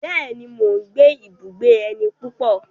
Bẹ́ẹ̀ni, mo gbé ibùgbé ẹni púpọ̀.